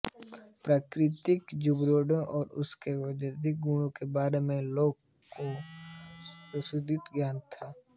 प्राकृतिक जड़ीबूटियों और उनके औषधीय गुणों के बारे में लोगों को विशद ज्ञान था